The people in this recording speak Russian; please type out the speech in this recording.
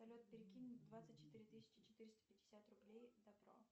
салют перекинь двадцать четыре тысячи четыреста пятьдесят рублей добро